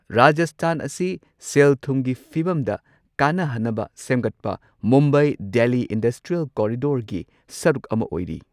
ꯔꯥꯖꯁꯊꯥꯟ ꯑꯁꯤ ꯁꯦꯜ ꯊꯨꯝꯒꯤ ꯐꯤꯚꯝꯗ ꯀꯥꯟꯅꯍꯟꯅꯕ ꯁꯦꯝꯒꯠꯄ ꯃꯨꯝꯕꯥꯏ ꯗꯦꯜꯂꯤ ꯏꯟꯗꯁꯇ꯭ꯔꯤꯌꯦꯜ ꯀꯣꯔꯤꯗꯣꯔꯒꯤ ꯁꯔꯨꯛ ꯑꯃ ꯑꯣꯏꯔꯤ꯫